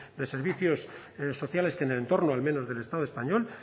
de servicios sociales en el entorno al menos del estado español